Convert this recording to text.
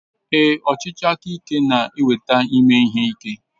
Ee, ọchịchị aka ike na-eweta ime ihe ike.